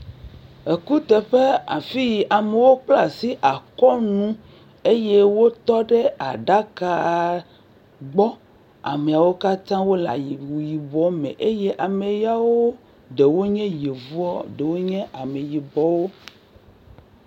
Ekuteƒe afi yi amewo kpla asi akɔnu eye wotɔ ɖe aɖakaa gbɔ. Ameawo katã wole ayi wu yibɔ me eye ame yawo ɖewo nye yevuwo, ɖewo nye ameyibɔwo.